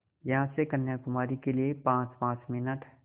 यहाँ से कन्याकुमारी के लिए पाँचपाँच मिनट